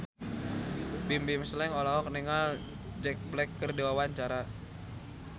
Bimbim Slank olohok ningali Jack Black keur diwawancara